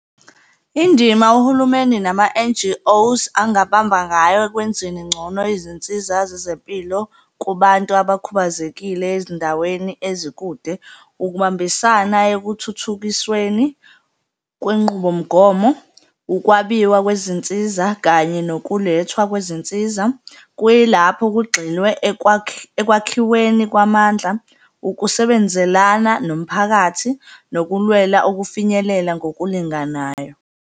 Indima uhulumeni nama-N_G_O-s angabamba ngayo ekwenzeni ngcono izinsiza zezempilo kubantu abakhubazekile ezindaweni ezikude. Ukubambisana ekuthuthukisweni kwenqubomgomo, ukwabiwa kwezinsiza kanye nokulethwa kwezinsiza, kuyilapho kugxilwe ekwakhiweni kwamandla, ukusebenzelana nomphakathi nokulwela ukufinyelela ngokulinganayo.